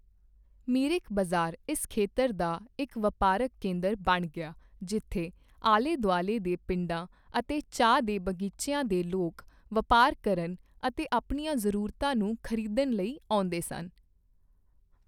ਮਿਰਿਕ ਬਜ਼ਾਰ ਇਸ ਖੇਤਰ ਦਾ ਇੱਕ ਵਪਾਰਕ ਕੇਂਦਰ ਬਣ ਗਿਆ ਜਿੱਥੇ ਆਲੇਦੁਆਲੇ ਦੇ ਪਿੰਡਾਂ ਅਤੇ ਚਾਹ ਦੇ ਬਗੀਚਿਆਂ ਦੇ ਲੋਕ ਵਪਾਰ ਕਰਨ ਅਤੇ ਆਪਣੀਆਂ ਜ਼ਰੂਰਤਾਂ ਨੂੰ ਖ਼ਰੀਦਣ ਲਈ ਆਉਂਦੇਸਨ।